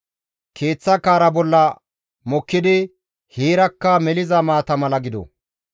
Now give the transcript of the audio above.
Keeththa kaara bolla mokkidi heerakka meliza maata mala gido!